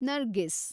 Nargis